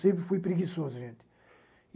Sempre fui preguiçoso, gente.